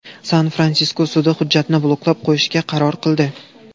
San-Fransisko sudi hujjatni bloklab qo‘yishga qaror qildi.